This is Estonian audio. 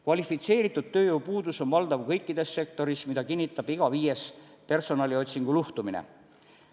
Kvalifitseeritud tööjõu puudus on valdav kõikides sektorites, mida kinnitab iga viies personaliotsingu luhtumine.